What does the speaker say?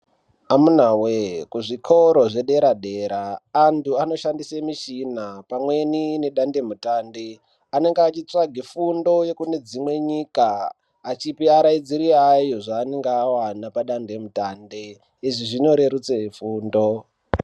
Amuna voye kuzvikora zvedera-dera antu anoshandise michina pamweni nedandemutande. Anonge achitsvage fundo yekunedzimwe nyika achipe araidziri ayo zvanonga avana padande mutande, izvi zvinorerutse fundo.